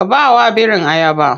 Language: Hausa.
Ka bawa birin ayaba.